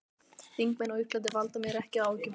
Þingmenn á Íslandi valda mér ekki áhyggjum.